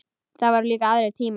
Það voru líka aðrir tímar.